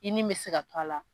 I ni mi se ka to a la